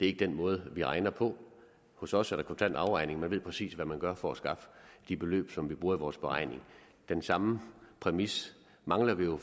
ikke den måde vi regner på hos os er der kontant afregning og man ved præcis hvad man gør for at skaffe de beløb som vi bruger i vores beregning den samme præmis mangler vi jo